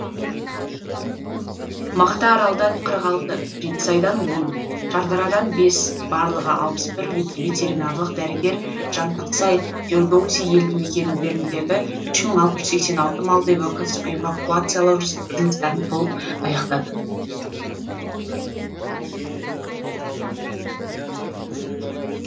мақтааралдан қырық алты жетісайдан он шардарадан бес барлығы алпыс бір ветеринарлық дәрігер жантақсай фирдоуси елді мекендеріндегі үш мың алты жүз сексен алты малды эвакуациялау жұмыстарын толық аяқтады